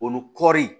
Olu kɔri